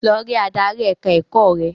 Lọ rí adarí ẹ̀ka-ẹ̀kọ́ rẹ!